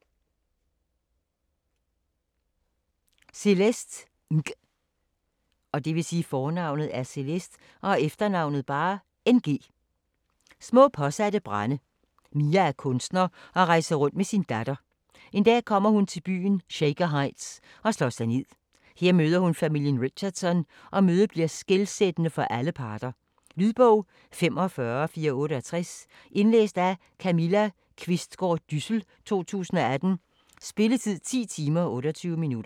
Ng, Celeste: Små påsatte brande Mia er kunstner og rejser rundt med sin datter. En dag kommer hun til byen Shaker Heights, og slår sig ned. Her møder hun familien Richardson, og mødet bliver skelsættende for alle parter. Lydbog 45468 Indlæst af Camilla Qvistgaard Dyssel, 2018. Spilletid: 10 timer, 28 minutter.